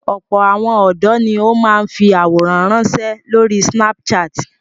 Ọ̀pọ̀ àwọn ọ̀dọ́ ni ó máa ń fi àwòrán ránṣẹ́ lórí Snapchat.